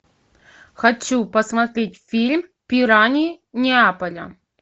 хочу посмотреть фильм пираньи неаполя